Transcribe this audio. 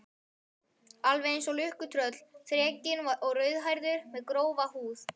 Alveg einsog lukkutröll, þrekinn og rauðhærður, með grófa húð.